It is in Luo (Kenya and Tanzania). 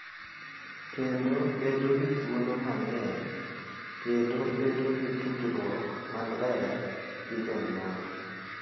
Kendo bedo gi thuolo mang’eny, kendo bedo gi tudruok maler gi jonyuol